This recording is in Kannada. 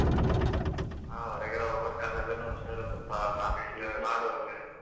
ಹಾ ಒರಗಡೆ ಹೋಗ್ಬೇಕಾದಗನೂ ಹುಷಾರು ಸ್ವಲ್ಪ mask use